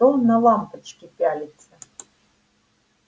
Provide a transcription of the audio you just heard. что на лампочки пялиться